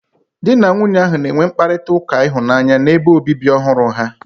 Di na nwunye ahụ na-enwe mkparịta ụka ịhụnanya n'ebe obibi ọhụrụ ha.